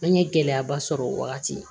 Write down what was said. An ye gɛlɛyaba sɔrɔ o wagati